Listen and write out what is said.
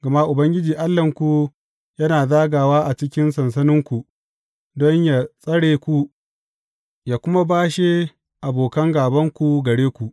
Gama Ubangiji Allahnku yana zagawa a cikin sansaninku don yă tsare ku, yă kuma bashe abokan gābanku gare ku.